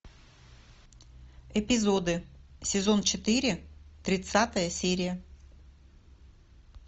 эпизоды сезон четыре тридцатая серия